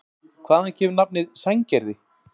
Hvaðan kemur nafnið Sandgerði?